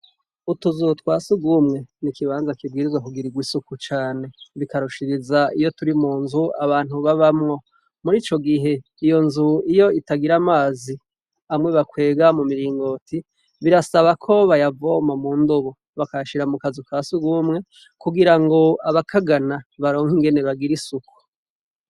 Utuzu twa sugumwe n’ikibanza kibwirizwa kugirirwa isuku cane, bikarushiriza iyo turi mu nzu abantu babamwo, murico gihe iyo nzu iyo itagira amazi amwe bakwega mu miringoti birasaba ko bayavoma mu ndobo bakayashira mu kazu ka sugumwe kugirango abakagana baronke ingene bagira isuku.